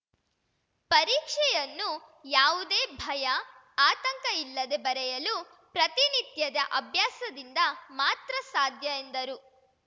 ಪರೀಕ್ಷೆಯನ್ನು ಯಾವುದೇ ಭಯ ಆತಂಕ ಇಲ್ಲದೆ ಬರೆಯಲು ಪ್ರತಿನಿತ್ಯದ ಅಭ್ಯಾಸದಿಂದ ಮಾತ್ರ ಸಾಧ್ಯ ಎಂದರು